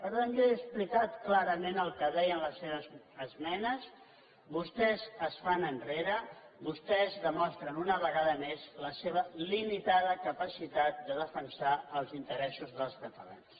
per tant jo he explicat clarament el que deien les seves esmenes vostès es fan enrere vostès demostren una vegada més la seva limitada capacitat de defensar els interessos dels catalans